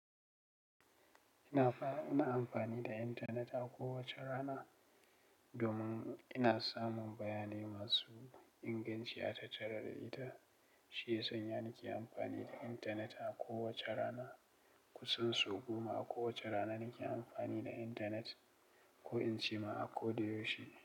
Ina fa, ina amfani da intanet a kowace rana domin ina samun bayanai masu inganci a tattare da ita. Shi ya sanya nake amfani da intanet a kowace rana. Kusan sau goma a kowace rana nake amfani da intanet ko in ce ma a ko da yaushe.